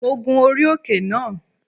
Mo gun orí òkè náà